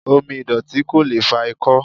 Omi ìdọ̀tí ko lee fa ikó̩